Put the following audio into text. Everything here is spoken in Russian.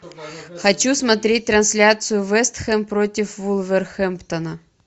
хочу смотреть трансляцию вест хэм против вулверхэмптона